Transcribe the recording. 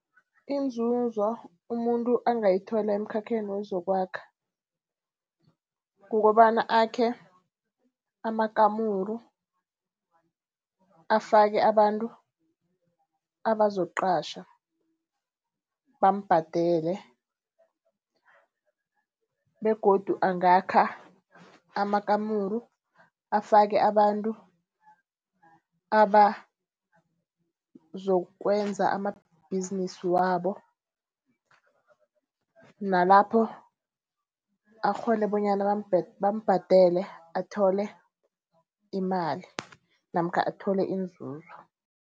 Inzuzo umuntu angayithola emkhakheni wezokwakha, kukobana akhe amakamuru afake abantu abazokuqatjha bambhadele. Begodu angakha amakamuru afake abantu abazokwenza amabhizinisi wabo, nalapho akghone bonyana bamubhadele athole imali namkha athole inzuzo.